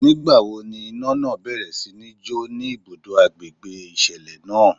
Ní ìgbà wo ni iná náà bẹ̀rẹ̀ sí ní jo ni ibùdó agbègbè ìṣẹ̀dá náà?